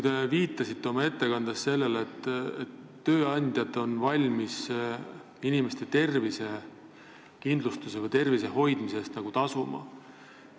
Te viitasite oma ettekandes sellele, et tööandjad on valmis inimestele tervise hoidmise eest nagu tasuma.